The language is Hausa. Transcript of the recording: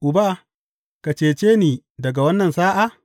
Uba, ka cece ni daga wannan sa’a’?